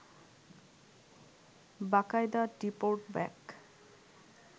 বাকায়দা deport back